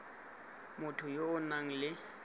motho yo o nang le